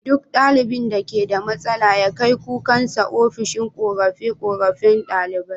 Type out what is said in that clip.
Duk ɗalibin da keda matsala ya kai kukansa ofishin korafe korafen ɗalibai